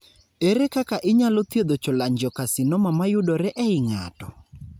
Ere kaka inyalo thiedho cholangiocarcinoma mayudore ei ng'ato?